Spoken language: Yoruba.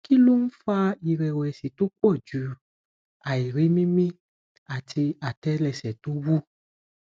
kí ló ń fa ìrẹwẹsì tó pọ̀ju àìrí mimí àti atẹlẹsẹ to wu